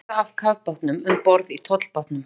Þjóðverja af kafbátnum um borð í tollbátnum.